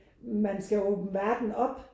Man skal åbne verden op